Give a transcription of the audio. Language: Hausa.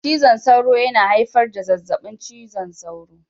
Cizon sauro yana haifar da zazzabin cizon sauro